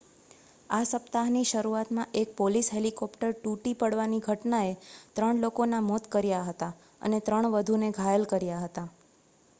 આ સપ્તાહની શરૂઆતમાં એક પોલીસ હેલીકોપ્ટર તૂટી પડવાની ઘટનાએ ત્રણ લોકોનાં મોત કર્યા હતા અને ત્રણ વધુને ઘાયલ કર્યા હતા